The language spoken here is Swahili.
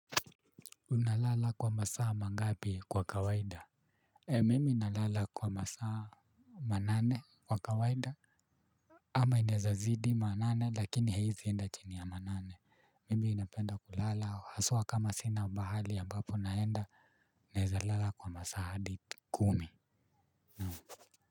Unalala kwa masaa mangapi kwa kawaida. Mimi nalala kwa masaa manane kwa kawaida ama inaeza zidi manane lakini haiezi enda chini ya manane. Mimi napenda kulala haswa kama sina mahali ya amabapo naenda naeza lala kwa masaa hadi kumi naam.